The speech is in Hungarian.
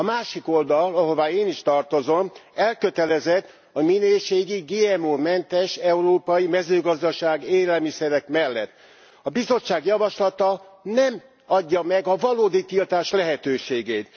A másik oldal, ahová én is tartozom, elkötelezett a minőségi, GMO mentes európai mezőgazdaság, élelmiszerek mellett. A Bizottság javaslata nem adja meg a valódi tiltás lehetőségét.